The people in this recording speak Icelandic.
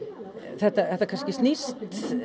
þetta kannski snýst